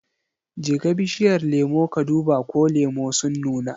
Jeka bishiyar lemu ka duba ko lemu sun nuna.